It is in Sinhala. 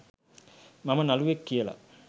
මම නළුවෙක් කියලා